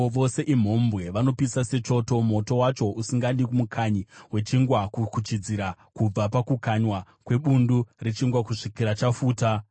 Vose imhombwe, vanopisa sechoto, moto wacho usingadi mukanyi wechingwa kukuchidzira, kubva pakukanywa kwebundu rechingwa kusvikira chafuta.